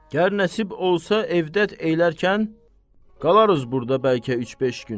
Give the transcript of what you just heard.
Gər nəsib olsa evdə elərkən, qalarıq burda bəlkə üç-beş gün.